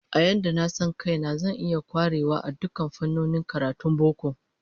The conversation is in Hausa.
A yadda na san kaina, zan iya kwarewa a dukkan fannonin karatun boko